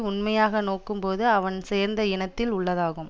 உண்மையாக நோக்கும் போது அவன் சேர்ந்த இனத்தில் உள்ளதாகும்